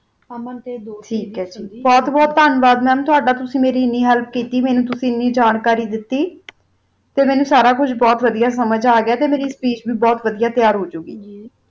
ਅਮਨ ਤਾ ਬੋਹਤ ਬੋਹਤ ਤਾਂਵਾਦ ਟੋਹਰ ਮੇਰੀ ਆਨੀ ਹੇਲ੍ਪ ਕੀਤੀ ਮੇਨੋ ਆਨੀ ਜਾਣਕਾਰੀ ਦਾਤੀ ਮੇਨੋ ਸਾਰਾ ਕੁਛ ਬੋਹਤ ਵੜਿਆ ਸਮਾਜ ਆ ਗਯਾ ਵਹਾ ਮੇਰੀ ਸਪੀਚ ਵੀ ਬੋਹਤ੍ਵ ਵੜਿਆ ਤਾਰ ਹੋ ਜੋ ਗੀ